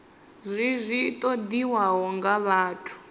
zwi zwi ṱoḓiwaho nga vhathu